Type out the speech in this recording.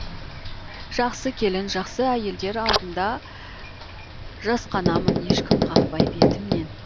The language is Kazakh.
жақсы келін жақсы әйелдер алдында жасқанамын ешкім қақпай бетімнен